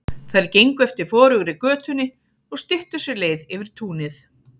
Þær gengu eftir forugri götunni og styttu sér leið yfir túnið.